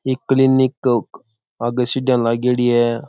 ये क्लिनिक आगे सीढिया लागेड़ी है।